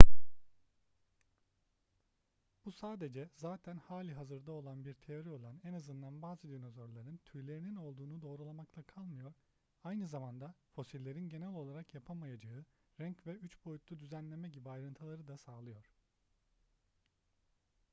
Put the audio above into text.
bu sadece zaten hali hazırda olan bir teori olan en azından bazı dinozorların tüylerinin olduğunu doğrulamakla kalmıyor aynı zamanda fosillerin genel olarak yapamayacağı renk ve üç boyutlu düzenleme gibi ayrıntıları da sağlıyor